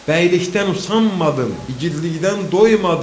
Bəylikdən usanmadım, igidlikdən doymadım.